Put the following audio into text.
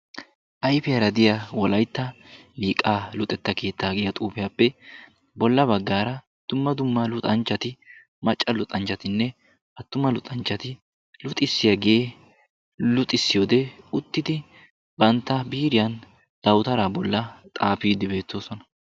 Ayfiyara diya wolaytta Liiqaa luxetta keettaa giya xuufiyappe bolla baggaara dumma dumma luxanchchati macca luxanchchatinne attuma luxanchchati luxissiyagee luxissiyode uttidi bantta biiriyan dawutaraa bolla xaafiiddi beettoosona.